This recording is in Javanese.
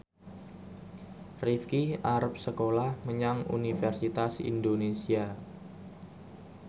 Rifqi arep sekolah menyang Universitas Indonesia